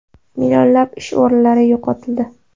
Millionlab ish o‘rinlari yo‘qotildi.